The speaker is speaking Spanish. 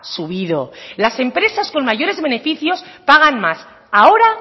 subido las empresas con mayores beneficios pagan más ahora